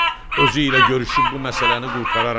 Özü ilə görüşüb bu məsələni qurtararam.